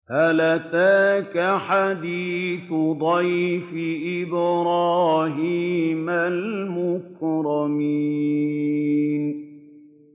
هَلْ أَتَاكَ حَدِيثُ ضَيْفِ إِبْرَاهِيمَ الْمُكْرَمِينَ